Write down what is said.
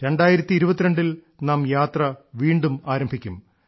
2022 ൽ നാം യാത്ര വീണ്ടും ആരംഭിക്കും